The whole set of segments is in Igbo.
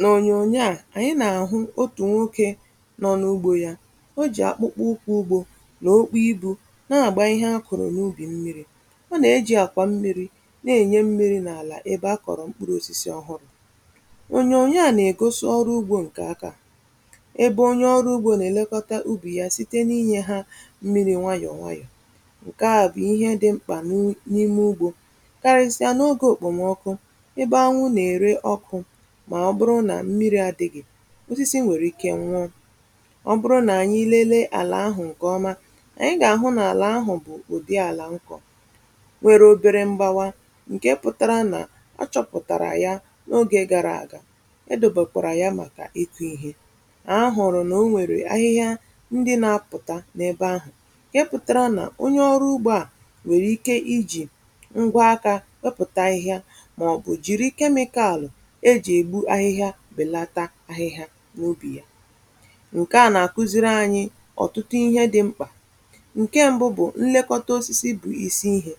N’onyonyo a, anyị na-ahụ otu nwoke nọ n’ugbo ya. Ọ ji akpụkpọ ụkwụ ugbo na okpu ibu, na-agba ihe ha kụrụ n’ubi mmiri. Ọ na-eji akwa mmiri na-enye mmiri n’ala ebe a kọrọ mkpụrụ osisi ọhụrụ. Onyonyo a na-egosi ọrụ ugbo nke aka, ebe onye ọrụ ugbo na-elekọta ubi ya site n’inyefe ha mmiri nwayọ nwayọ. Nke ahụ bụ ihe dị mkpa n’ime ugbo, karịsịa n’oge okpomọkụ, ebe anyanwụ na-ere ọkụ osisi nwere ike nwụọ ọ bụrụ na a naghị enye ha mmiri. Ọ bụrụ na anyị lelee ala ahụ nke ọma, anyị ga-ahụ na ala ahụ bụ ụdị ala nkọ nwere obere mbawa, nke pụtara na o chọpụtara ya n’oge gara aga, edobekwa ya maka ihe a hụrụ. Na o nwere ahịhịa ndị na-apụta n’ebe ahụ, ka e pụtara na onye ọrụ ugbo a nwere ike iji ngwa aka ọpụtachaa ihe maọbụ jiri kemikalụ ahụ ihe n’obi ya. Nke a na-akuziri anyị ọtụtụ ihe dị mkpa: Nke mbụ: Nlekọta osisi bụ isi ihe. Ọ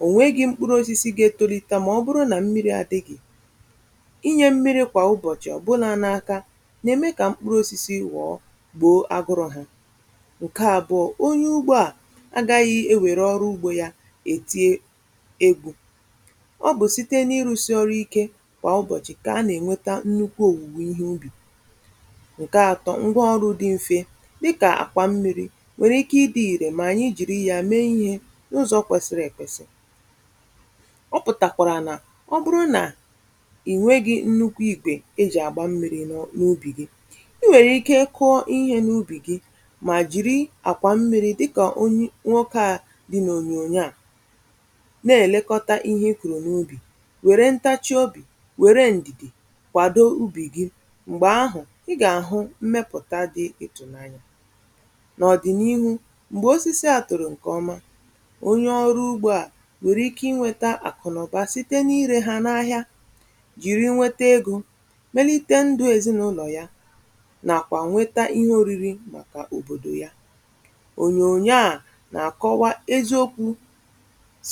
bụrụ na ịnweghị mkpụrụ osisi ga-etolite, ma ọ bụrụ na mmiri adịghị, inye mmiri kwa ụbọchị n’aka na-eme ka mkpụrụ osisi ghọọ gboo, agụrọ ha. Nke abụọ: Onye ugbo a agaghị ewere ọrụ ugbo ya dị egwu, ọ bụ site n’ịrụsi ọrụ ike. Nke atọ: Ngwaọrụ dị mfe, dịka akwa mmiri, nwere ike ịdị irè ma a jiri ya mee ihe n’ụzọ kwesiri ekwesi. Ọ pụtara na ọbụlagodi na ịnweghị nnukwu igwe eji agba mmiri n’ubi gị, i nwere ike kụọ ihe n’ubi gị, ma jiri akwa mmiri dị ka nwoke a dị n’onyonyo a na-elekọta ihe kụrụ n’ubi ya. Were ntachi obi, mgbe ahụ ị ga-ahụ mmepụta dị ịtụnanya n’ọdịnihu, mgbe osisi atụrụ nke ọma. Onye ọrụ ugbo a nwere ike inweta akụrụba site n’ire ha n’ahịa, jiri nweta ego, melite ndụ ezinụlọ ya, na-akwado kwa ihe oriri maka obodo ya. Onyonyo a na-akọwa eziokwu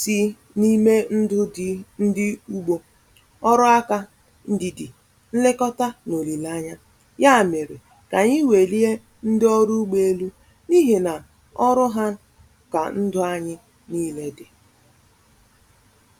si n’ime ndụ ndị ugbo — ọrụ aka na ndidi ha mere ka anyị welie ndị ọrụ ugbo elu, n’ihi na ọrụ ha ka ndụ anyị nile dị.